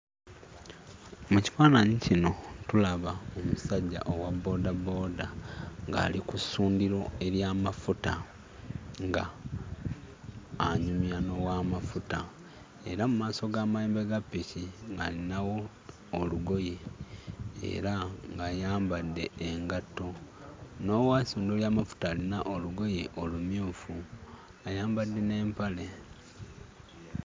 Mu kifaananyi kino tulaba omusajja owa boodabooda ng'ali ku ssundiro ery'amafuta ng'anyumya n'owaamafuta era mu maaso g'amayembe ga ppiki ng'alinawo olugoye era ng'ayambadde engatto. N'owessundiro ly'amafuta alina olugoye olumyufu, ayambadde n'empale.